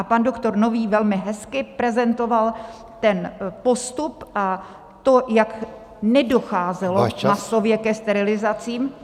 A pan doktor Nový velmi hezky prezentoval ten postup a to, jak nedocházelo masově ke sterilizacím.